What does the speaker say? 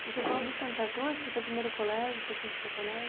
E você falou do Santa Cruz, foi teu primeiro colégio, foi sempre teu colégio?